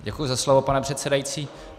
Děkuji za slovo, pane předsedající.